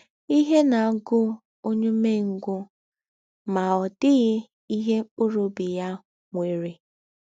“ Ihe na - agụ ọnye ụmengwụ, ma ọ dịghị ihe mkpụrụ ọbi ya nwere.